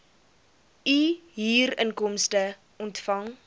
u huurinkomste ontvang